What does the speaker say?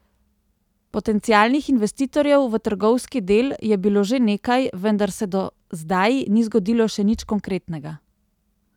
Potencialnih investitorjev v trgovski del je bilo že nekaj, vendar se do zdaj ni zgodilo še nič konkretnega.